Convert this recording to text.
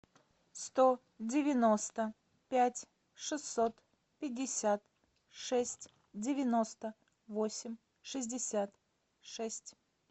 сто девяносто пять шестьсот пятьдесят шесть девяносто восемь шестьдесят шесть